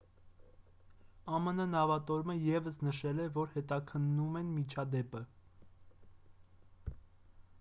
ամն նավատորմը ևս նշել է որ հետաքննում են միջադեպը